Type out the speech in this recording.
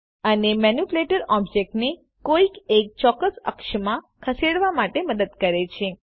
આ મેનીપ્યુલેટર ઓબ્જેક્ટને કોઈ એક ચોક્કસ અક્ષમાં ખસેડવા માટે મદદ કરે છે